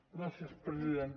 gràcies president